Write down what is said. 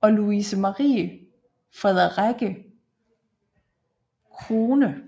og Lovise Marie Frederikke Krohne